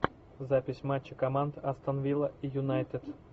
запись матча команд астон вилла и юнайтед